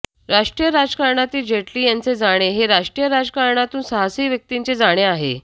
राष्ट्रीय राजकारणातील जेटली यांचे जाणे हे राष्ट्रीय राजकारणातून साहसी व्यक्तीचे जाणे आहे